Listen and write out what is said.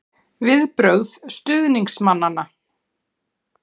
Viðbrögð stuðningsmanna?